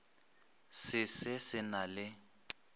se se se na le